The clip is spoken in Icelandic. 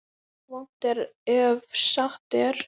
Vont er ef satt er.